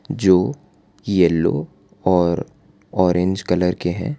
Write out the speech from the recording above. जो येलो और orange colour के हैं।